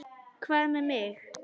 Hvað með mig?